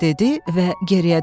dedi və geriyə döndü.